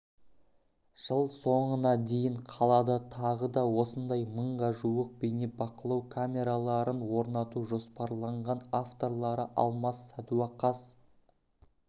жыл соңына дейін қалада тағы да осындай мыңға жуық бейнебақылау камераларын орнату жоспарланған авторлары алмас сәдуақас